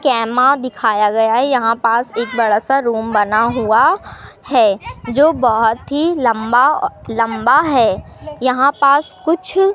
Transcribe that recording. कैमा दिखाया गया है यहां पास एक बड़ा सा रूम बना हुआ है जो बहोत ही लंबा-लंबा है यहां पास कुछ --